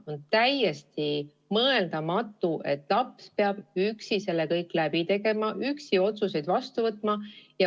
On täiesti mõeldamatu, et laps peab selle kõik üksi läbi tegema, üksi otsuseid vastu võtma.